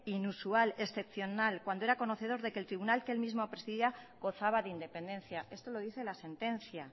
inusual excepcional cuando era conocedor que el tribunal que el mismo presidía gozaba de independencia esto lo dice la sentencia